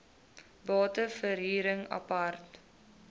bate verhuring apart